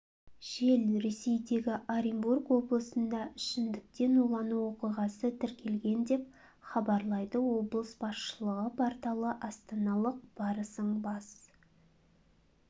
жел ресейдегі оренбург облысында ішімдіктен улану оқиғасы тіркелген деп хабарлайды облыс басшылығы порталы астаналық барысың бас